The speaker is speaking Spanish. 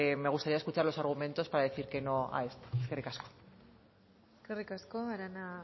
me gustaría escuchar los argumentos para decir que no a esto eskerrik asko eskerrik asko arana